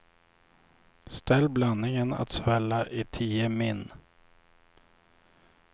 Ställ blandningen att svälla i tio min.